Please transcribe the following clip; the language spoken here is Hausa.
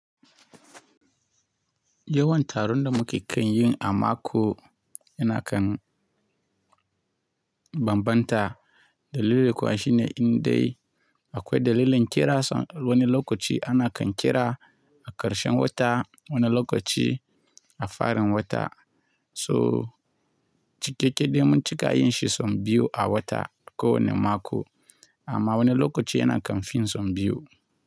Yawan taron da muke kan yi a mako yana kan bambanta. Dalili kuwa shine in dai akwai dalilin ƙira, sannan wani lokaci ana kan ƙira a ƙarshen wata, wani lokaci a farin wata. So cikakke dai mun cika yin shi sau biyu a wata ko wane mako, amma wani lokaci yana kan fin sau biyu.